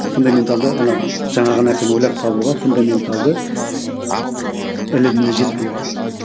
фундаменталды ана жаңағы нәрсені ойлап табуға фундаменталды іліміміз жетпей қалады